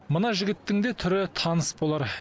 мына жігіттің де түрі таныс болар